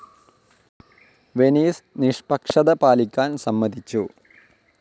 Venice നിഷ്പക്ഷത പാലിക്കാൻ സമ്മതിച്ചു.